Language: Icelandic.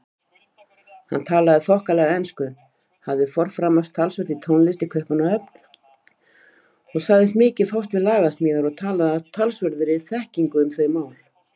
Hann talaði þokkalega ensku, hafði forframast talsvert í tónlist í Kaupmannahöfn og sagðist mikið fást við lagasmíðar og talaði af talsverðri þekkingu um þau mál.